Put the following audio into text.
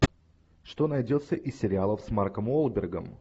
что найдется из сериалов с марком уолбергом